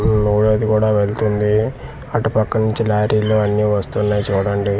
ఊ మూడోది కూడ వెళ్తుంది అటు పక్క నుంచి లారీలు అన్నివస్తున్నాయి చూడండి.